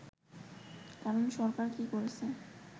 কারণ সরকার কি করছে